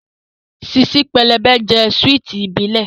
Ṣíṣí pẹlẹbẹ jẹ́ súwìtì ìbílẹ̀